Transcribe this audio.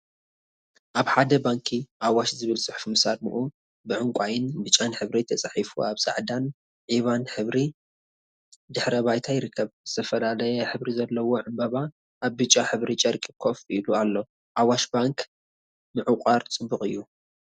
አብ ሓደ ባንኪ አዋሽ ዝብል ፅሑፍ ምስ አርምኡ ብዕንቋይን ብጫን ሕብሪ ተፃሒፉ አብ ፃዕዳን ዒባን ሕብሪ ድሕረ ባይታ ይርከብ፡፡ ዝተፈላለየ ሕብሪ ዘለዎ ዕምበባ አብ ብጫ ሕብሪ ጨርቂ ኮፍ ኢሉ አሎ፡፡ አዋሽ ባንክ ምዕቋር ፅቡቅ እዩ፡፡